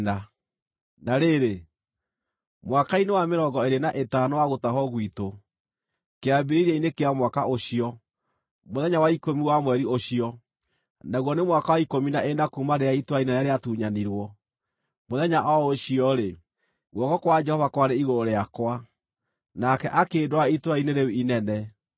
Na rĩrĩ, mwaka-inĩ wa mĩrongo ĩĩrĩ na ĩtano wa gũtahwo gwitũ, kĩambĩrĩria-inĩ kĩa mwaka ũcio, mũthenya wa ikũmi wa mweri ũcio, naguo nĩ mwaka wa ikũmi na ĩna kuuma rĩrĩa itũũra inene rĩatunyanirwo, mũthenya o ũcio-rĩ, guoko kwa Jehova kwarĩ igũrũ rĩakwa, nake akĩndwara itũũra-inĩ rĩu inene.